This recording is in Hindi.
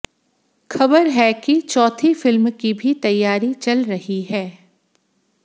खबर है कि चौथी फिल्म की भी तैयारी चल रही है